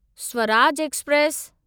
Swaraj express